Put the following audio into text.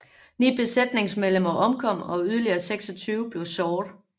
Ni besætningsmedlemmer omkom og yderligere 26 blev såret